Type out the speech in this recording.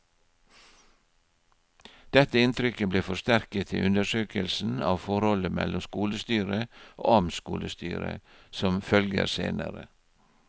Dette inntrykket blir forsterket i undersøkelsen av forholdet mellom skolestyret og amtskolestyret, som følger senere.